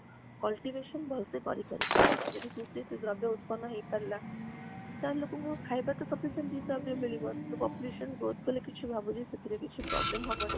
cultivation ଭଳସେ କରି ପାରିବେ ଯଦି କୃଷି ଉତ୍ପନ୍ନା ହେଇ ପାରିଲା ତାହାଲେ ଲୋକଙ୍କୁ ଖାଇବା sufficient ସେଇ ହିସାବ ରେ ମିଳିବ ତେଣୁ population growth କଲେ କିଛି ଭାବୁଛି ସେଠିଏ କିଛି problem ହବନି